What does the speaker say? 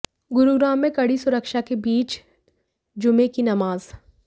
गुरुग्राम में कड़ी सुरक्षा के बीच जुमे की नमाज़